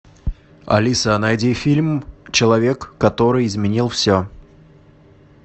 алиса найди фильм человек который изменил все